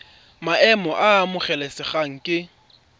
maemo a a amogelesegang ke